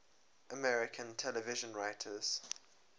american television writers